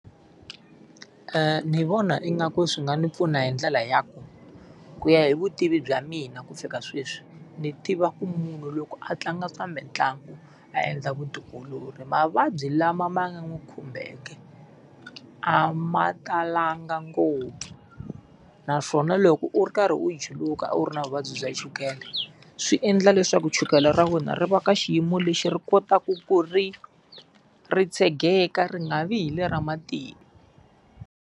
Ndzi vona ingaku swi nga ni pfuna hi ndlela ya ku, ku ya hi vutivi bya mina ku fika sweswi, ndzi tiva ku munhu loko a tlanga swa mitlangu a endla vutiolori mavabyi lama ma nga n'wi khumbeke a ma talanga ngopfu. Naswona loko u ri karhi u juluka u ri na vuvabyi bya chukele, swi endla leswaku chukele ra wena ri va ka xiyimo lexi ri kotaku ku ri ri tshegeka ri nga vi hi le ra .